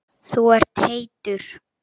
Þú ert heitur.